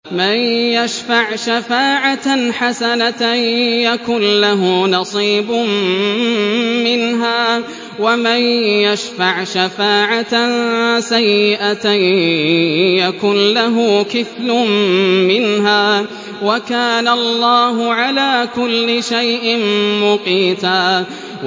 مَّن يَشْفَعْ شَفَاعَةً حَسَنَةً يَكُن لَّهُ نَصِيبٌ مِّنْهَا ۖ وَمَن يَشْفَعْ شَفَاعَةً سَيِّئَةً يَكُن لَّهُ كِفْلٌ مِّنْهَا ۗ وَكَانَ اللَّهُ عَلَىٰ كُلِّ شَيْءٍ مُّقِيتًا